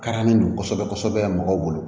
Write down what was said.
Kara ni don kosɛbɛ kosɛbɛ